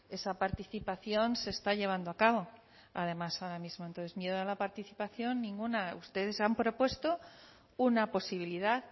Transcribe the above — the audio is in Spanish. esa participación se está llevando a cabo además ahora mismo entonces miedo a la participación ninguna ustedes han propuesto una posibilidad